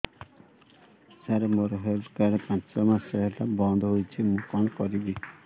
ସାର ମୋର health card ପାଞ୍ଚ ମାସ ହେଲା ବଂଦ ହୋଇଛି ମୁଁ କଣ କରିବି